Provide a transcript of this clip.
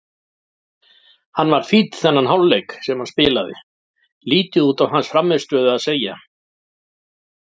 Hann var fínn þennan hálfleik sem hann spilaði, lítið út á hans frammistöðu að segja.